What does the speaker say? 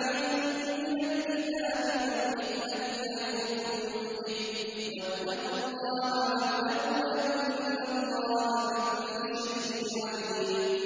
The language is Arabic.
عَلَيْكُم مِّنَ الْكِتَابِ وَالْحِكْمَةِ يَعِظُكُم بِهِ ۚ وَاتَّقُوا اللَّهَ وَاعْلَمُوا أَنَّ اللَّهَ بِكُلِّ شَيْءٍ عَلِيمٌ